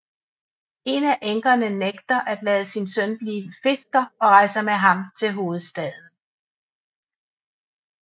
En af enkerne nægter at lade sin søn blive fisker og rejser med ham til hovedstaden